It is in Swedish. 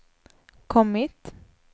kommit